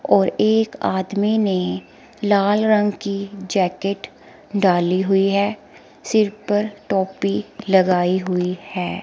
और एक आदमी ने लाल रंग की जैकेट डाली हुई है सिर पर टोपी लगाई हुई है।